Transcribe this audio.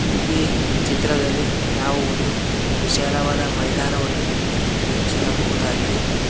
ಈ ಚಿತ್ರದಲ್ಲಿ ನಾವು ಒಂದು ವಿಶಾಲವಾದ ಮೈದಾನವನ್ನು ವೀಕ್ಷಿಸಬಹುದಾಗಿದೆ.